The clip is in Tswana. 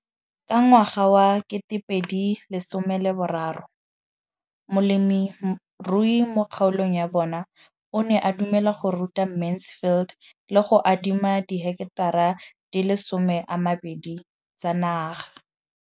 Ka ngwaga wa 2013, molemirui mo kgaolong ya bona o ne a dumela go ruta Mansfield le go mo adima di heketara di le 12 tsa naga.